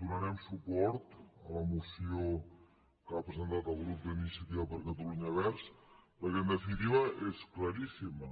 donarem suport a la moció que ha presentat el grup d’iniciativa per catalunya verds perquè en definitiva és claríssima